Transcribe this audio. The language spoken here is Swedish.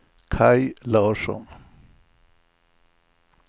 Kaj Larsson